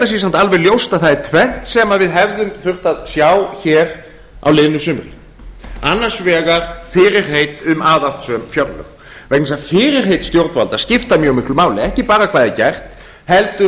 það sé samt alveg ljóst að það er tvennt sem við hefðum þurft að sjá hér á liðnu sumri annars vegar fyrirheit um aðhaldssöm fjárlög vegna þess að fyrirheit stjórnvalda skipta mjög miklu máli ekki bara hvað er gert heldur